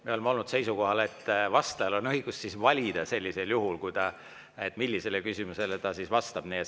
Me oleme olnud seisukohal, et vastajal on sellisel juhul õigus valida, millisele küsimusele ta vastab.